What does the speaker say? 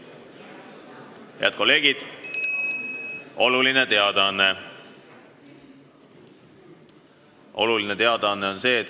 Head kolleegid, oluline teadaanne!